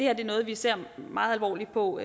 er noget vi ser meget alvorligt på